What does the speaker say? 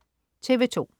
TV2: